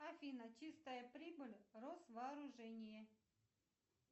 афина чистая прибыль росвооружение